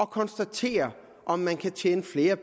konstatere at man kan tjene flere